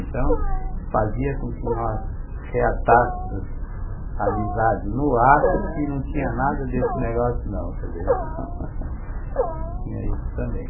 Então, fazia com que nós reatássemos a amizade no ato, aham, que não tinha nada desse negócio, não, quer dizer, então tinha isso também.